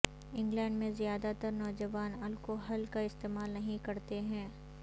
England میں زیادہ تر نوجوان الکوحل کا استعمال نہیں کرتے ہیں